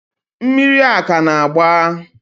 mmiri a ka na-agba?